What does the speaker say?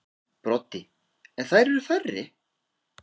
Broddi: En þær eru færri.